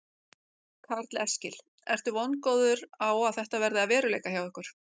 Karl Eskil: Ertu vongóður á að þetta verði að veruleika hjá ykkur?